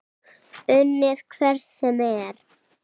Unnið hvern sem er?